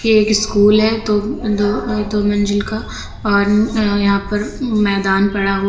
एक स्कूल है तो दो अह दो मंजिल का और यहां पर मैदान पड़ा हुआ--